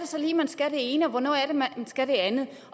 så lige man skal det ene og hvornår er det man skal det andet